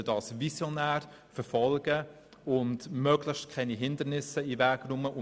Wir sollten das visionär verfolgen und dem möglichst keine Hindernisse in den Weg stellen.